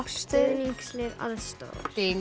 stuðningslið aðstoðar